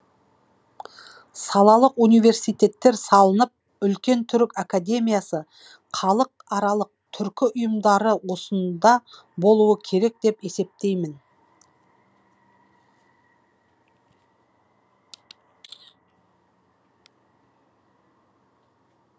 салалық университеттер салынып үлкен түрік академиясы халықаралық түркі ұйымдары осында болуы керек деп есептеймін